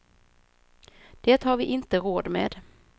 Det har vi inte råd med.